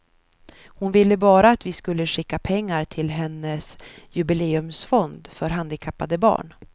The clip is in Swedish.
Hon ville bara att vi skulle skicka pengar till hennes jubileumsfond för handikappade barn.